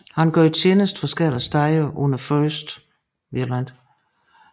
Han gjorde tjeneste forskellige steder under 1